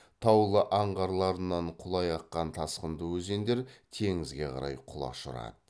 таулы аңғарларынан құлай аққан тасқынды өзендер теңізге қарай құлаш ұрады